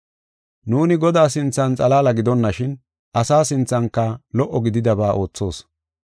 Nuuni Godaa sinthan xalaala gidonashin, asa sinthanka lo77o gididaba oothoos.